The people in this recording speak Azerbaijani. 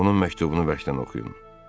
Onun məktubunu bərkdən oxuyun.